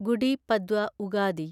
Gudi Padwa Ugadi